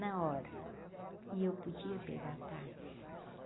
Na hora, e eu podia pegar a táxi.